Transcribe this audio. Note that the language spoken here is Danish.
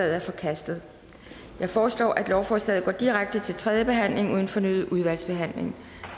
er forkastet jeg foreslår at lovforslaget går direkte til tredje behandling uden fornyet udvalgsbehandling